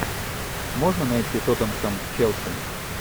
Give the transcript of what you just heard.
можно найти тоттенхэм челси